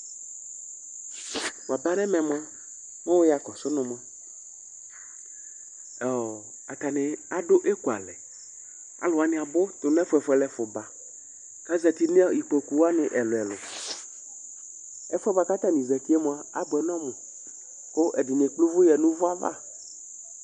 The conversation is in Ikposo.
Waba nɛmɛ mʋa, mɛ wʋ ya kɔsʋ nʋ mʋa , ɔɔ atanɩ adʋ ekualɛ: alʋ wanɩ abʋ tʋ nʋ ɛfʋɛfʋɛlʋɛfʋ baKazati n ' ikpoku wanɩ ɛlʋɛlʋƐfʋɛ bʋa katanɩ zatie mʋa, abʋɛ nɔmʋ ,kʋ ɛdɩnɩ ekple ʋvʋyǝ nʋvʋ ava